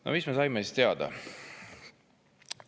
No mis me saime siis teada?